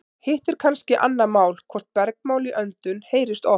Hitt er kannski annað mál hvort bergmál í öndum heyrist oft.